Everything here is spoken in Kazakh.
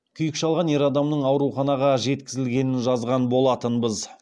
күйік шалған ер адамның ауруханаға жеткізілгенін жазған болатынбыз